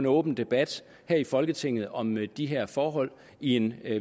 åben debat her i folketinget om de her forhold i en